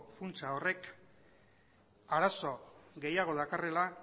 funtsa horrek arazo gehiago dakarrela